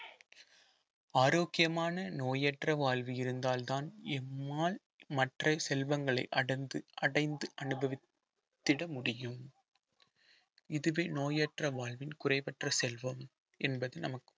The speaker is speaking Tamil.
ஆரோக்கியமான நோயற்ற வாழ்வு இருந்தால்தான் இம்மால் மற்ற செல்வங்களை அடர்ந்து அடைந்து அனுபவித்திட முடியும் இதுவே நோயற்ற வாழ்வின் குறைவற்ற செல்வம் என்பது நமக்கு